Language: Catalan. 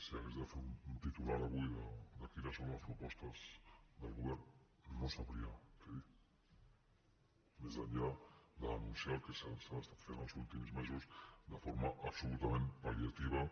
si hagués de fer un titular avui de quines són les propostes del govern no sabria què dir més enllà d’anunciar el que s’ha estat fent els últims mesos de forma absolutament pal·liativa